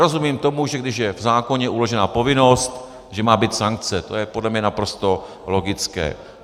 Rozumím tomu, že když je v zákoně uložena povinnost, že má být sankce, to je podle mě naprosto logické.